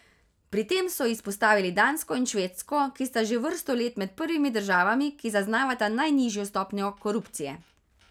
Pri tem so izpostavili Dansko in Švedsko, ki sta že vrsto let med prvimi državami, ki zaznavata najnižjo stopnjo korupcije.